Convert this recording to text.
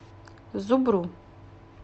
зубру